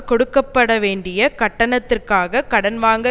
கொடுக்க பட வேண்டிய கட்டணத்திற்காக கடன் வாங்க